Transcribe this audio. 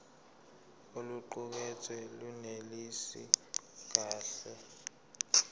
oluqukethwe lunelisi kahle